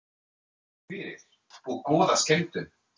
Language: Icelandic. Takk fyrir og góða skemmtun.